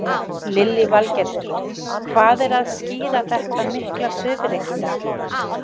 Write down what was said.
Lillý Valgerður: Hvað er að skýra þetta mikla svifryk í dag?